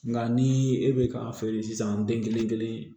Nka ni e bɛ k'a feere sisan den kelen-kelen